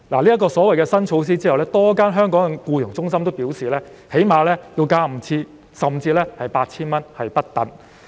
在實施新措施後，香港多間外傭中心表示所需費用最少會增加 5,000 元至 8,000 元不等。